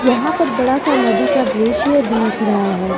यहां पर बड़ा सा नदी का दृश्य दिख रहा है।